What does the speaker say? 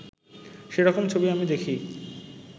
সেরকম ছবি আমি দেখি